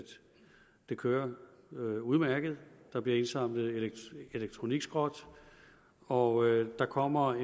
det kører udmærket der bliver indsamlet elektronikskrot og der kommer